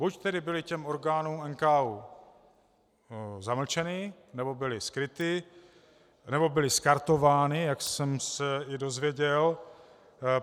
Buď tedy byly těm orgánům NKÚ zamlčeny, nebo byly skryty, nebo byly skartovány, jak jsem se i dozvěděl.